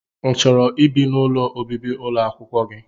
i chọrọ ibi n'ụlọ ọbibi ụlọakwụkwọ gị?